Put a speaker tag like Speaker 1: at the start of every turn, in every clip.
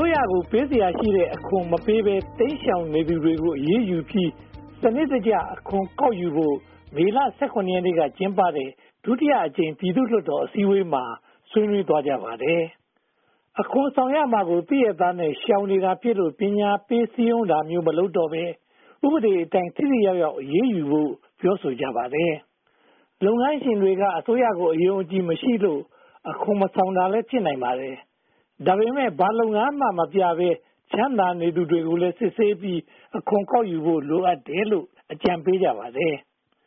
Speaker 1: ိုးရကို ပေးစရာရှိတဲ့ အခွန်ကို မပေးဘဲ တိမ်ရှောင်နေသူတွေကို အရေးယူပြီး စနစ်တကျ အခွန်ကောက်ယူဖို့ မေလ (၁၇) ရက်နေ့က ကျင်းပတဲ့ ဒုတိယအကြိမ် ပြည်သူ့လွှတ်တော်အစည်းအဝေးမှာ ဆွေးနွေးသွားကြပါတယ်။ အခွန်ဆောင်ရမှာကို သိရက်သားနဲ့ ရှောင်နေတာဖြစ်လို့ ပညာပေးစည်းရုံးတာမျိုး မလုပ်တော့ဘဲ ဥပဒေအတိုင်း ထိထိရောက်ရောက် အရေးယူဖို့ကိုလည်း ပြောဆိုကြပါတယ်။ လုပ်ငန်းရှင်တွေက အစိုးရကို အယုံအကြည်မရှိလို့ အခွန်မဆောင်တာလည်း ဖြစ်နိုင်ပါတယ်။ ဒါပေမဲ့ ဘာလုပ်ငန်းမှ မပြနိုင်ဘဲ ချမ်းသာနေသူတွေကိုလည်း စစ်ဆေးပြီး အခွန်ကောက်ယူဖို့ လိုအပ်တယ်လို့ အကြံပေးကြပါတယ်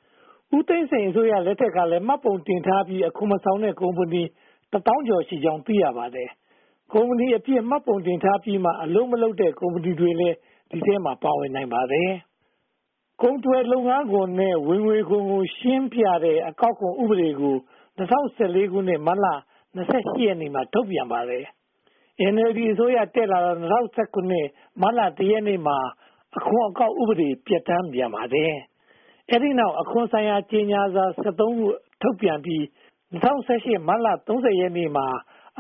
Speaker 1: ။ ဦးသိန်းစိန်အစိုးရလက်ထက်ကလည်း မှတ်ပုံတင်ထားပြီး အခွန်မဆောင်တဲ့ ကုမ္ပဏီ တစ်သောင်းကျော်ရှိကြောင်း သိရပါတယ်။ ကုမ္ပဏီအဖြစ် မှတ်ပုံတင်ထားပြီးမှ အလုပ်မလုပ်တဲ့ ကုမ္ပဏီတွေလည်း ဒီထဲမှာ ပါဝင်နိုင်ပါတယ်။ ကုန်သွယ်လုပ်ငန်းခွင်နဲ့ ဝင်ငွေခွန်ကို ရှင်းပြတဲ့ အခွန်အကောက်ဥပဒေကို ၂၀၁၄ ခု၊ မတ်လ (၂၈) ရက်နေ့မှာ ထုတ်ပြန်ပါတယ်။ NLD အစိုးရတက်လာတော့ ၂၀၁၇ မတ်လ (၁) ရက်နေ့မှာ အခွန်အကောက် ဥပဒေကို ပြဌာန်းပြန်ပါတယ်။ အဲဒီနောက် အခွန်ဆိုင်ရာ ကြေညာစာ (၁၃) ခု ထုတ်ပြန်ပြီး ၂၀၁၈ မတ်လ (၃၀) ရက်နေ့မှာ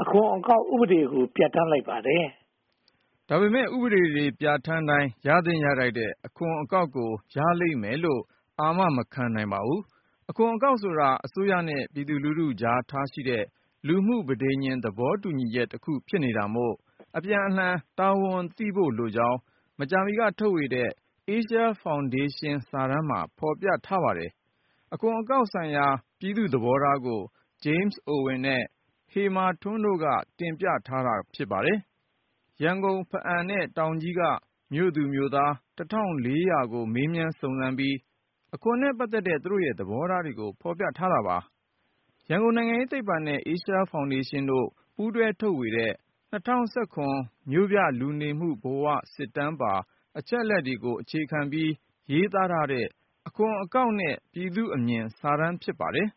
Speaker 1: အခွန်အကောက်ဥပဒေကို ပြဌာန်းလိုက်ပါတယ်။
Speaker 2: ဒါပေမဲ့ ဥပဒေတွေ ပြဌာန်းတိုင်း ရသင့်ရထိုက်တဲ့ အခွန်အကောက်ကို ရလိမ့်မယ်လို့ အာမ မခံနိုင်ပါဘူး။ အခွန်အကောက်ဆိုတာ အစိုးရနဲ့ ပြည်သူလူထုအကြားထားရှိတဲ့ လူမှုပဋိညာဉ် သဘောတူညီချက်တခု ဖြစ်နေတာမို့ အပြန်အလှန်တာဝန်သိဖို့လိုကြောင်း မကြာမီက ထုတ်ဝေတဲ့ Asia Foundation စာတမ်းမှာ ဖော်ပြထားပါတယ်။ အခွန်အကောက်ဆိုင်ရာ ပြည်သူ့သဘောထားကို James Owen နဲ့ ဟေမန်ထွန်းတို့က တင်ပြထားတာ ဖြစ်ပါတယ်။ ရန်ကုန်၊ ဖားအံ့ နဲ့ တောင်ကြီးတို့က မြို့သူမြို့သား ၁၄၀၀ ကို မေးမြန်းစုံစမ်းပြီး အခွန်နဲ့ ပတ်သက်တဲ့ သူတို့ရဲ့ သဘောထားကို ဖော်ပြထားပါတယ်။ ရန်ကုန်နိုင်ငံရေးသိပ္ပံနဲ့ Asia Foundation တို့ ပူးတွဲထုတ်ဝေတဲ့ ၂၀၁၇ မြို့ပြလူနေမှုဘဝစစ်တမ်းပါ အချက်အလက်တွေကို အခြေခံပြီး ရေးသားထားတဲ့ 'အခွန်အကောက်နဲ့ ပြည်သူ့အမြင်' စာတမ်း ဖြစ်ပါတယ်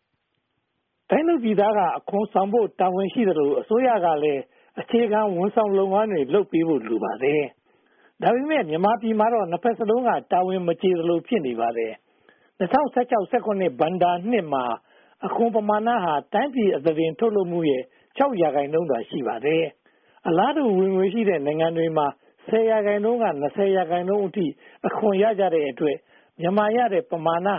Speaker 1: ။ တိုင်းသူပြည်သားက အခွန်ဆောင်ဖို့ တာဝန်ရှိသလို အစိုးရကလည်း အခြေခံဝန်ဆောင်လုပ်ငန်းတွေ လုပ်ပေးဖို့လိုပါတယ်။ ဒါပေမဲ့ မြန်မာပြည်မှာတော့ နှစ်ဘက်စလုံးက တာဝန်မကျေသလို ဖြစ်နေပါတယ်။ ၂၀၁၆-၁၇ ဘဏ္ဍာနှစ်မှာရတဲ့ အခွန်ပမာဏ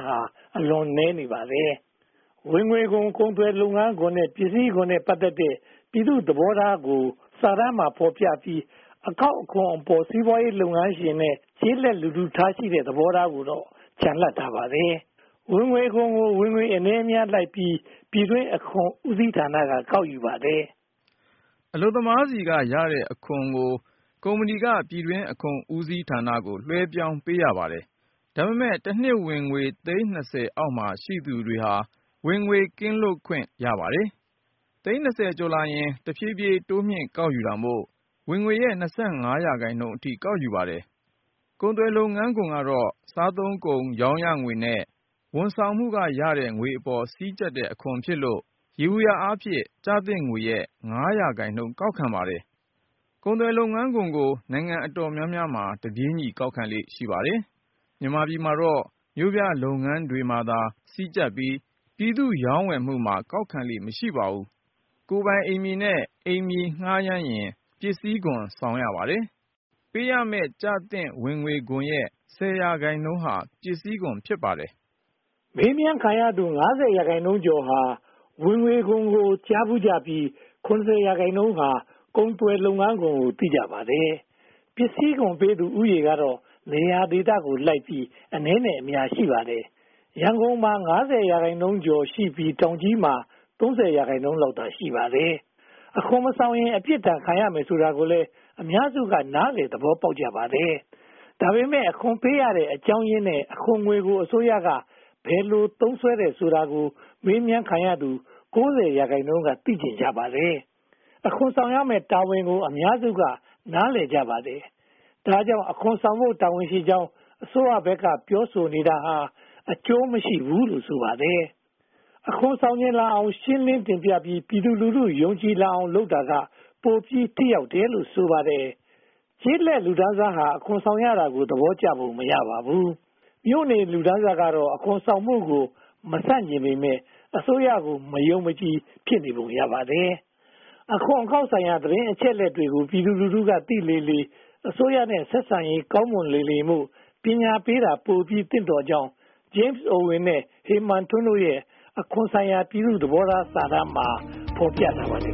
Speaker 1: ဟာ အလွန်နည်းနေပါတယ်။ ဝင်ငွေခွန်၊ ကုန်သွယ်လုပ်ငန်းခွင်နဲ့ ပစ္စည်းခွန်နဲ့ ပတ်သက်တဲ့ ပြည်သူ့သဘောထားကိုသာ စာတမ်းမှာ ဖော်ပြပြီး အခွန်အကောက်အပေါ် စီးပွားရေးလုပ်ငန်းရှင်နဲ့ ကျေးလက်လူထုထားရှိတဲ့ သဘောထားကိုတော့ ချန်လှပ်ထားပါတယ်။ ဝင်ငွေခွန်ကို ဝင်ငွေအနည်းအများကိုလိုက်ပြီး ပြည်တွင်းအခွန်ဦးစီးဌာနက ကောက်ယူပါတယ်
Speaker 2: ။ အလုပ်သမားတွေဆီက ရတဲ့အခွန်ကို ကုမ္ပဏီပြည်တွင်းအခွန်ဦးစီးဌာနကို လွှဲပြောင်းပေးရပါတယ်။ ဒါပေမဲ့ တနှစ်ဝင်ငွေ သိန်း (၂၀) အောက်မှာ ရှိသူတွေဟာ ဝင်ငွေခွန် ကင်းလွတ်ခွင့် ရပါတယ်။ သိန်း (၂၀) ကျော်လာရင် တဖြည်းဖြည်းတိုးမြှင့်ကောက်ယူတာမို့ ဝင်ငွေရဲ့ (၂၅) ရာခိုင်နှုန်းအထိ ကောက်ယူပါတယ်။ ကုန်သွယ်လုပ်ငန်းအခွန်ကတော့ စားသုံးကုန် ရောင်းရငွေနဲ့ ဝန်ဆောင်မှုကရတဲ့ ငွေအပေါ်မှာ စည်းကြပ်တဲ့အခွန်ဖြစ်လို့ ယေဘုယျအားဖြင့် ကျသင့်ငွေရဲ့ (၅) ရာခိုင်နှုန်းကိုသာ ကောက်ခံပါတယ်။ ကုန်သွယ်လုပ်ငန်းခွန်ကို နိုင်ငံအတော်များများမှာ တပြေညီ ကောက်ခံလေ့ရှိပါတယ်။ မြန်မာပြည်မှာတော့ မြို့ပြလုပ်ငန်းတွေမှာသာ စည်းကြပ်ပြီး ပြည်သူ့ရောင်းဝယ်မှုမှာ ကောက်ခံလေ့မရှိပါ။ ကုန်ပိုင်အိမ်မြေနဲ့ အိမ်မြေငှားရမ်းရင် ပစ္စည်းခွန်ဆောင်ရပါတယ်။ ပေးရမယ့် ကျသင့်ဝင်ငွေခွန်ရဲ့ (၁၀) ရာခိုင်နှုန်းဟာ ပစ္စည်းခွန် ဖြစ်ပါတယ်
Speaker 1: ။ မေးမြန်းခံရသူ (၅၀) ရာခိုင်နှုန်းကျော်ဟာ ဝင်ငွေခွန်ကို ကြားဖူးကြပြီး (၇၀) ရာခိုင်နှုန်းဟာ ကုန်သွယ်လုပ်ငန်းခွန်ကို သိကြပါတယ်။ ပစ္စည်းခွန်ပေးသူဦးရေကတော့ နေရာဒေသလိုက်ပြီး အနည်းအများရှိပါတယ်။ ရန်ကုန်မှာ (၅၀) ရာခိုင်နှုန်းကျော်ရှိပြီး တောင်ကြီးမှာ (၃၀) ရာခိုင်နှုန်းလောက်သာ ရှိပါတယ်။ အခွန်မဆောင်ရင် အပြစ်ဒဏ်ခံရမယ်ဆိုတာကိုလည်း အများစုက နားလည်သဘောပေါက်ကြပါတယ်။ ဒါပေမဲ့ အခွန်ပေးရတဲ့အကြောင်းရင်းနဲ့ အခွန်ငွေကို အစိုးရက ဘယ်လိုသုံးစွဲတယ်ဆိုတာကို မေးမြန်းခံရသူ (၉၀) ရာခိုင်နှုန်းက သိချင်ကြပါတယ်။ အခွန်ဆောင်ရမယ့်တာဝန်ကို အများစုက နားလည်ကြပါတယ်။ ဒါကြောင့် အခွန်ဆောင်ဖို့ တာဝန်ရှိကြောင်း အစိုးရဘက်က ပြောဆိုနေတာဟာ အကျိုးမရှိဘူးလို့ ဆိုပါတယ်။ အခွန်ဆောင်ချင်လာအောင် ရှင်းလင်းတင်ပြပြီး ပြည်သူလူထု ယုံကြည်လာအောင် လုပ်တာက ပိုပြီးထိရောက်တယ်လို့ ဆိုပါတယ်။ ကျေးလက်လူတန်းစားဟာ အခွန်ဆောင်ရတာကို သဘောကျပုံ မရပါဘူး။ မြို့နေလူတန်းစားကတော့ အခွန်ဆောင်မှုကို မဆန့်ကျင်ပေမယ့် အစိုးရကို မယုံမကြည် ဖြစ်နေပုံ ရပါတယ်။ အခွန်အကောက်ဆိုင်ရာ သတင်းအချက်အလက်တွေကို ပြည်သူက သိလေလေ အစိုးရနဲ့ ဆက်ဆံရေး ကောင်းမွန်လေလေမို့ ပညာပေးတာ ပိုပြီးသင့်တော်ကြောင်း James Owen နဲ့ ဟေမာန်ထွန်းတို့ရဲ့ အခွန်ဆိုင်ရာ ပြည်သူ့သဘောထားစာတမ်းမှာ ဖော်ပြထားပါတယ်